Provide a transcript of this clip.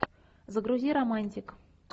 загрузи романтик